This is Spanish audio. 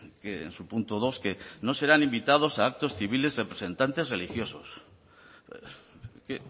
que en su punto dos que no serán invitados a actos civiles representantes religiosos es que